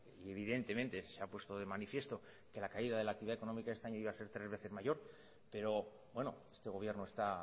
evidentemente se ha puesto de manifiesto que las caída de la actividad económica este año iba a ser tres veces mayor pero este gobierno está